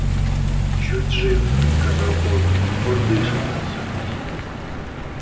чуть жив сказал он он дышит всё таки